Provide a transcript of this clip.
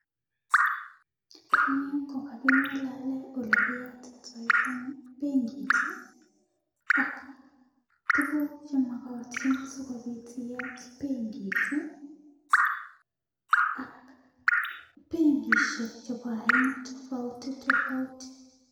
Eng' yu ko kaking'alale ole kiyatitai penkit i, ak tuguk che makatin asikopit iyat penkit i, ak penkishek chepo aina tofauti tofauti.